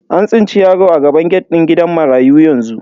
An tsinci yaro a gaban gate din gidan marayu yanzu.